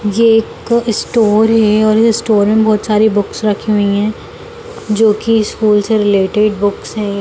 ये एक स्टोर है और ये स्टोर में बहुत सारी बुक्स रखी हुई हैं जो की स्कूल से रिलेटेड बुक्स हैं।